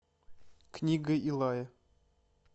книга илая